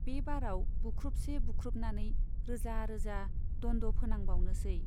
बे बाराव बुख्रुबसे बुख्रुबनानै रोजा रोजा दन्द' फोनांबावनोसै।